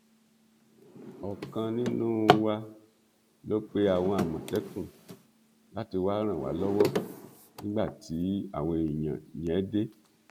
ọkan nínú wa ló pe àwọn àmọtẹkùn láti wàá ràn wá lọwọ nígbà tí àwọn èèyàn yẹn dé